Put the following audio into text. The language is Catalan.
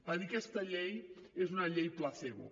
va dir aquesta llei és una llei placebo